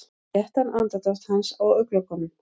Léttan andardrátt hans á augnalokunum.